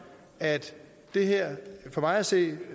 at det her for mig at se